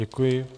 Děkuji.